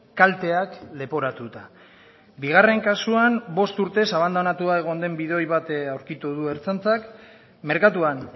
kalteak leporatuta bigarren kasuan bost urtez abandonatua egon den bidoi bat aurkitu du ertzaintzak merkatuan